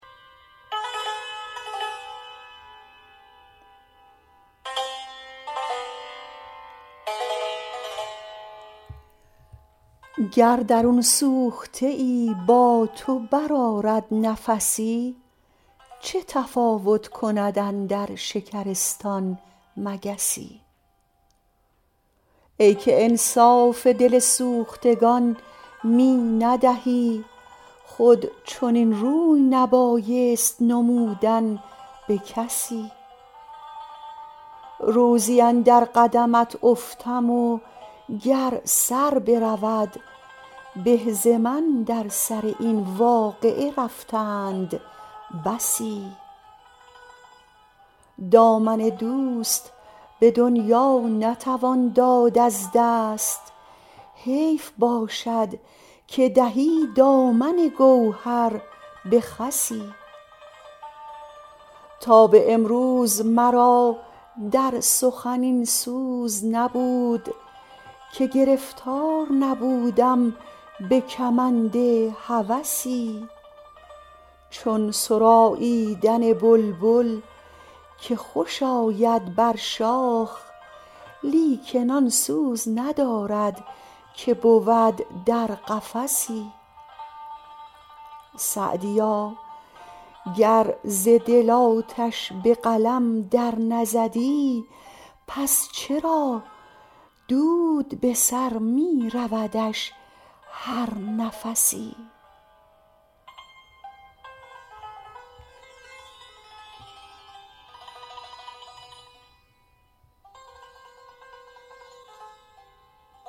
گر درون سوخته ای با تو برآرد نفسی چه تفاوت کند اندر شکرستان مگسی ای که انصاف دل سوختگان می ندهی خود چنین روی نبایست نمودن به کسی روزی اندر قدمت افتم و گر سر برود به ز من در سر این واقعه رفتند بسی دامن دوست به دنیا نتوان داد از دست حیف باشد که دهی دامن گوهر به خسی تا به امروز مرا در سخن این سوز نبود که گرفتار نبودم به کمند هوسی چون سراییدن بلبل که خوش آید بر شاخ لیکن آن سوز ندارد که بود در قفسی سعدیا گر ز دل آتش به قلم در نزدی پس چرا دود به سر می رودش هر نفسی